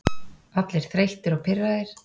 Allir þreyttir og pirraðir.